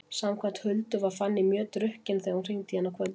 Samkvæmt Huldu var Fanný mjög drukkin þegar hún hringdi í hana kvöldið áður.